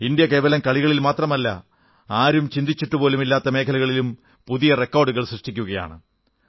India കേവലം കളികളിൽ മാത്രമല്ല ആരും ചിന്തിച്ചിട്ടുപോലുമില്ലാത്ത മേഖലകളിലും പുതിയ റെക്കാർഡുകൾ സൃഷ്ടിക്കുകയാണ്